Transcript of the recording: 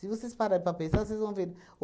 vocês pararem para pensar, vocês vão ver.